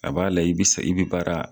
A b'a layɛ i be se i bi baara